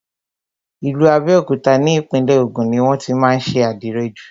Ìlú Abẹ́òkúta ni Ìpínlẹ̀ Ògùn ni wọ́n tí má ń ṣe àdìrẹ jù.